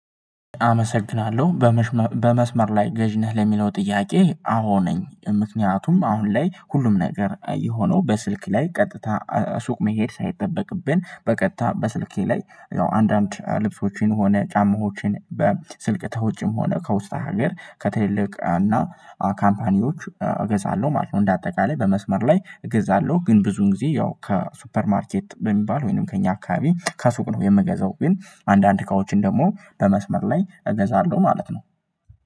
አመሰግናለሁ። በመስመር ላይ ገዢ ነህ ለሚለው ጥያቄ አዎ ነኝ። ምክንያቱም አሁን ላይ ሁሉም ነገር የሆነው በስልክ ላይ ቀጥታ ሱቅ መሄድ ሳይጠበቅብን በቀጥታ በስልኬ ላይ ያው አንዳንድ ልብሶችን ሆነ ጫማዎችን በስልክ ተውጭም ሆነ ከውስጠ ሀገር ከትልልቅ እና ካምፓኒዎች እገዛለሁ ማለት ነው። እንደ አጠቃላይ በመስመር ላይ እገዛለሁ ግን ብዙውን ጊዜ ያው ከሱፐር ማርኬት በሚባል ወይንም ከእኛ አካባቢ ከሱቅ ነው የምገዛው ግን አንዳንድ እቃዎችን ደግሞ በመስመር ላይ እገዛለሁ ማለት ነው።